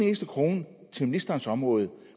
eneste krone til ministerens område